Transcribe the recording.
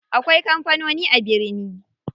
Akwai kampanoni a birni.